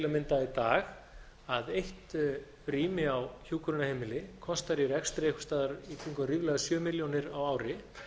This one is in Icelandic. mynda í dag að eitt rými á hjúkrunarheimili kostar í rekstri einhvers staðar í kringum ríflega sjö milljónir á ári